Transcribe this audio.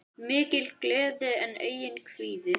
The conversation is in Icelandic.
Mikil gleði en einnig kvíði.